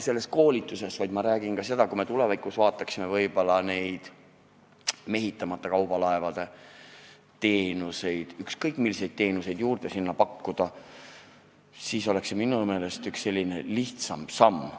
Aga ma räägin ka seda, et kui me tulevikus osutaksime võib-olla neid mehitamata kaubalaevade teenuseid, siis kui ükskõik milliseid teenuseid sinna pakkuda, siis oleks see minu meelest üks selline lihtsam samm.